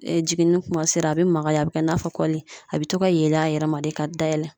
Jiginni kuma sera a bɛ magaya a bɛ kɛ i n'a fɔ kɔli a bɛ to ka yeelen a yɛrɛ ma de ka dayɛlɛ